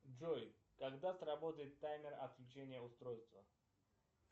джой когда сработает таймер отключения устройства